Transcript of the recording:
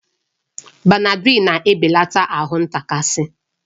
Benadrịl na-ebelata ahụ ntakasi